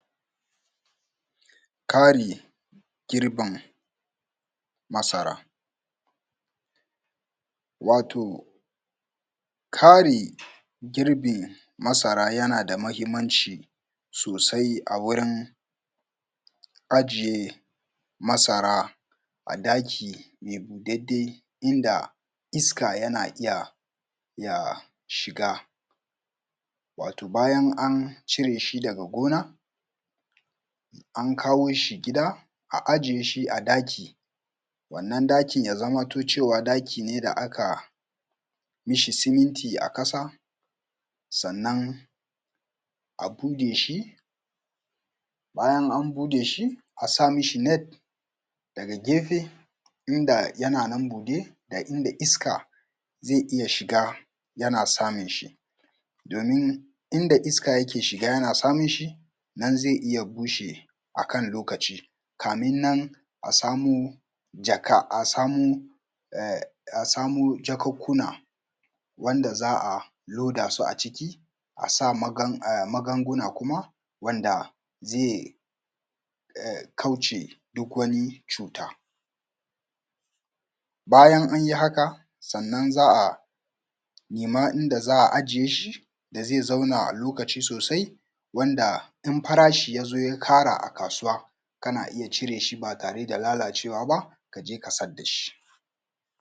Kari girbin masara wato kari girbin masara yana da mahimanci sosai a wurin ajiye masara a ɗaki mai boɗaɗɗe inda iska yana iya shiga. Wato bayan an cire shi daga gona an kawo shi gida, a ajiye shi a ɗaki. Wannan ɗaki ya zamanto cewa ɗaki ne da aka mi shi ciminti a ƙasa, sannan abuɗe shi, bayan an buɗe shi a sa mi shi net daga gyefe. Inda yana nan buɗe da iska zai iya shiga yana samun shi, domin inda iska yake shiga yana samun shi, nan zai iya bushewa a kan lokaci kafin nan a sa mo jakunkuna wanda za a lodasu a ciki, a sa magagguna kuma wanda zai kauce duk wani cuta. Bayan an yi haka sannan za a nema inda za a ijiye shi da zai zauna a lokaci sosai wanda in farashi ya zo ya ƙarau a kasuwa kana iya cire shi ba tare da lalacewa ba, ka je ka sayar da shi.